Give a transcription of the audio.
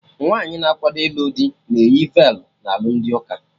Nwaanyi na akwado ilu dị na-eyi velu na alụmdi ụka